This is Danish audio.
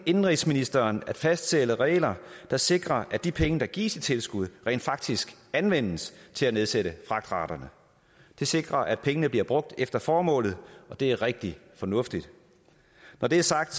indenrigsministeren at fastsætte regler der sikrer at de penge der gives i tilskud rent faktisk anvendes til at nedsætte fragtraterne det sikrer at pengene bliver brugt efter formålet og det er rigtig fornuftigt når det er sagt